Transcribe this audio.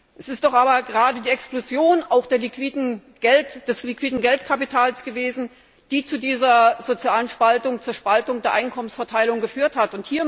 Es ist doch aber gerade die Explosion des liquiden Geldkapitals gewesen, die zu dieser sozialen Spaltung, zur Spaltung der Einkommensverteilung geführt hat.